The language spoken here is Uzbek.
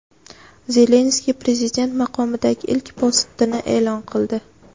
Zelenskiy prezident maqomidagi ilk postini e’lon qildi.